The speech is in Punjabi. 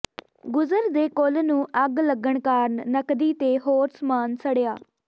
ਗੁਜਰ ਦੇ ਕੁੱਲ ਨੂੰ ਅੱਗ ਲੱਗਣ ਕਾਰਨ ਨਕਦੀ ਤੇ ਹੋਰ ਸਮਾਨ ਸੜਿਆ